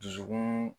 Dusukun